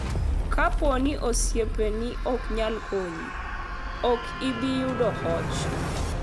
Kapo ni osiepeni ok nyal konyi, ok ibi yudo hoch.